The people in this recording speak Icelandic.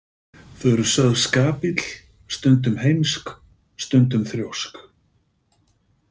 Þau eru sögð skapill, stundum heimsk, stundum þrjósk.